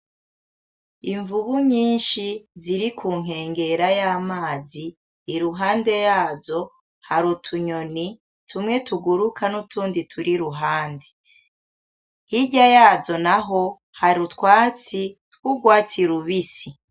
Imvubu nyinshi ziri ku nkengera y'amazi, iruhande yazo hari utunyoni tumwe tuguruka n'utundi turi ruhande. Hirya yazo naho hari utwatsi tw'urwatsi rubisi.